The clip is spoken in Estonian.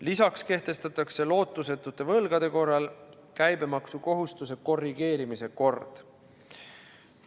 Lisaks kehtestatakse lootusetute võlgade korral käibemaksukohustuse korrigeerimise kord.